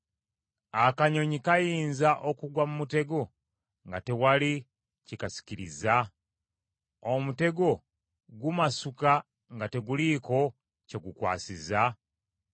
Akanyonyi kayinza okugwa mu mutego nga tewali kikasikirizza? Omutego gumasuka nga teguliiko kye gukwasizza?